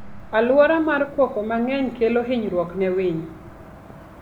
Aluora mar koko mang'eny kelo hinyruok ne winy.